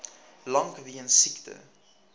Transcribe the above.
lank weens siekte